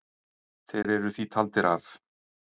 Þeir eru því taldir af.